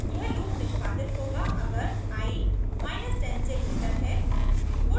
यह लूप निष्पादित होगा अगर i 10 से ग्रेटर है